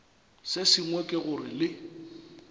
se sengwe ke gore le